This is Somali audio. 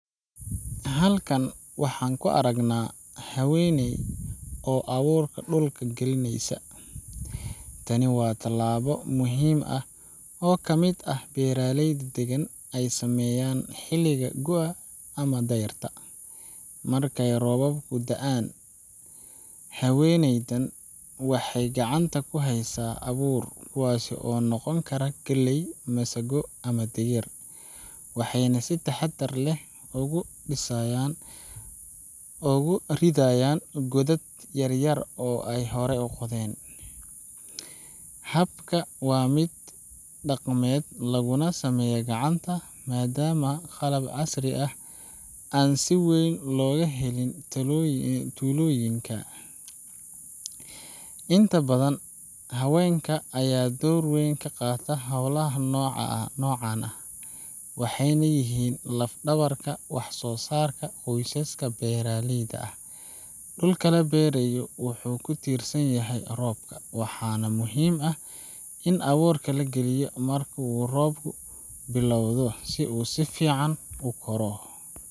Halkan waxaan ku aragnaa haweeney oo abuurka dhulka gelinaysa. Tani waa tallaabo muhiim ah oo ka mid ah beeraleyda deegaanka ay sameeyaan xilliga gu’ga ama dayrta, markay roobabku da’aan. Haweeneydan waxay gacanta ku haysaa abuur kuwaas oo noqon kara galley, masago, ama digir waxayna si taxaddar leh ugu ridayan godad yar yar oo ay horey u qodeen. Habka waa mid dhaqameed, laguna sameeyaa gacanta maadaama qalab casri ah aan si weyn looga helin tuulooyinka. Inta badan haweenka ayaa door weyn ka qaata howlaha noocan ah, waxayna yihiin lafdhabarka wax soosaarka qoysaska beeraleyda ah. Dhulka la beero wuxuu ku tiirsan yahay roobka, waxaana muhiim ah in abuurka la geliyo marka uu roobku bilowdo si uu si fiican u koro.